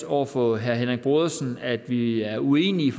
over for herre henrik brodersen at vi er uenige